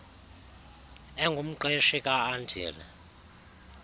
engumqeshi ka andile